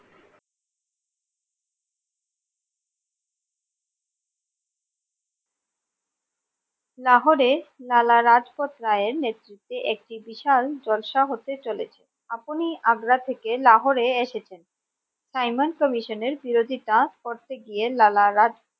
লাহোর লালালাজপত রায় এর নেতৃত্বে একটি বিশাল জলসা হতে চলেছে আপনি আগ্রা থেকে লাহোর এসেছেন সাইমন কমিশনের বিরোধিতা করতে গিয়ে লালালাজপত